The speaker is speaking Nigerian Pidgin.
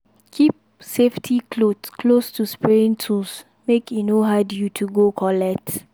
keep safety cloth close to spraying tools make e no hard you to go collect